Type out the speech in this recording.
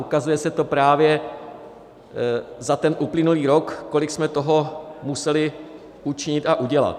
Ukazuje se to právě za ten uplynulý rok, kolik jsme toho museli učinit a udělat.